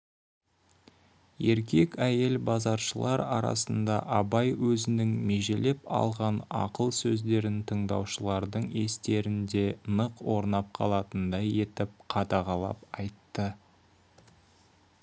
еркек әйел базаршылар арасында абай өзінің межелеп алған ақыл сөздерін тыңдаушылардың естерінде нық орнап қалатындай етіп қадағалап айтты